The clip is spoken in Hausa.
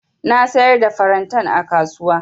Na siyar da farantan a kasuwa.